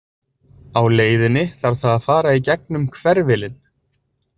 Á leiðinni þarf það að fara í gegn um „hverfilinn“.